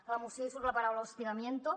a la moció hi surt la paraula hostigamiento